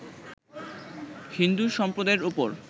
হিন্দু সম্প্রদায়ের উপর